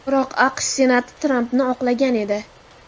Biroq AQSh Senati Trampni oqlagan edi .